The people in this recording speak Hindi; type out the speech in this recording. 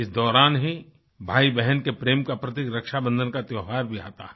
इस दौरान ही भाईबहन के प्रेम का प्रतीक रक्षा बंधन का त्योहार भी आता है